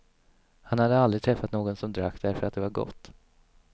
Han hade aldrig träffat någon som drack därför att det var gott.